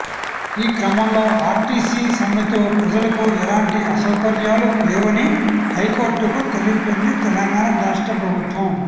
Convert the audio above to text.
ఈ క్రమంలో ఆర్టీసీ సమ్మెతో ప్రజలకు ఎలాంటి అసౌకర్యాలు లేవని హైకోర్టుకు తెలిపింది తెలంగాణ రాష్ట్ర ప్రభుత్వం